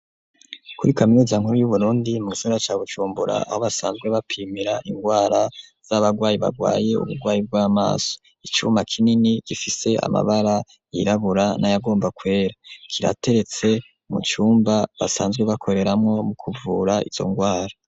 Kuri kaminuza nkuru y'Uburundi mugisagara ca Bujumbura, aho basanzwe bapimira ingwara z'abagwayi bagwaye uburgwayi bw'amaso icuma kinini gifise amabara yirabura nayagomba kwera, kirateretse mu cumba basanzwe bakoreramo mu kuvura izo ndwara.